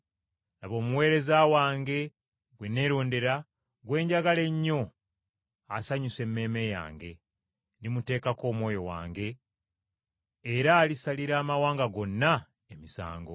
“Laba Omuweereza wange, ggwe neerondera, gwe njagala ennyo asanyusa emmeeme yange. Ndimuteekako Omwoyo wange era Alisalira amawanga gonna emisango.